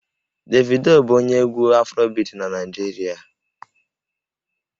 Davido bụ onye egwú Afrobiti na Naịjirịa